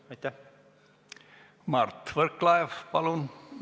Mart Võrklaev, palun!